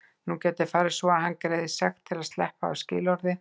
Nú gæti farið svo að hann greiði sekt til að sleppa af skilorði.